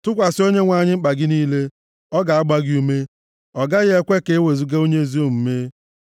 Tụkwasị Onyenwe anyị mkpa gị niile, ọ ga-agba gị ume; ọ gaghị ekwe ka ewezuga onye ezi omume.